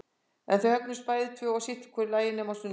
En þau björguðust bæði tvö og sitt í hvoru lagi nema á sunnudögum.